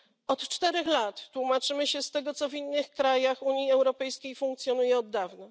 Od 4 lat tłumaczymy się z tego, co w innych krajach Unii Europejskiej funkcjonuje od dawna.